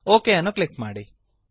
okay ಅನ್ನು click ಮಾಡಿ